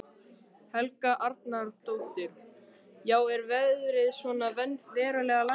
Helga Arnardóttir: Já er verðið svona verulega lækkað?